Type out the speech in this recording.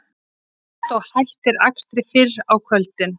Strætó hættir akstri fyrr á kvöldin